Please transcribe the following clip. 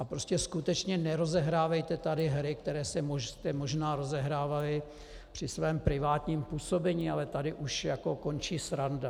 A prostě skutečně nerozehrávejte tady hry, které jste možná rozehrávali při svém privátním působení, ale tady už jako končí sranda.